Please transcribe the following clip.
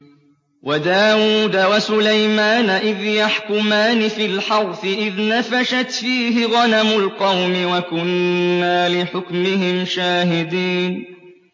وَدَاوُودَ وَسُلَيْمَانَ إِذْ يَحْكُمَانِ فِي الْحَرْثِ إِذْ نَفَشَتْ فِيهِ غَنَمُ الْقَوْمِ وَكُنَّا لِحُكْمِهِمْ شَاهِدِينَ